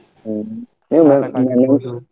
ಹ್ಮ್ .